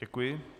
Děkuji.